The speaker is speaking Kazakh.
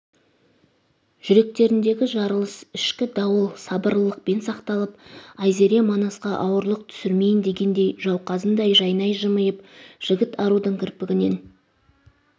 жүректеріндегі жарылыс ішкі дауыл сабырлылықпен сақталып айзере манасқа ауырлық түсірмейін дегендей жауқазындай жайнай жымиып жігіт арудың кірпігінен